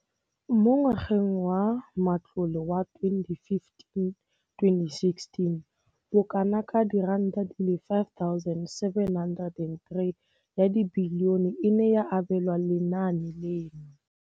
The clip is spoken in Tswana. Mo ngwageng wa matlole wa 2015 2016, bokanaka R5 703 bilione e ne ya abelwa lenaane leno.